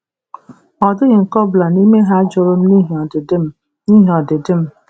Ọ dịghị nke ọ bụla n'ime ha jụrụ m n'ihi ọdịdị m n'ihi ọdịdị m.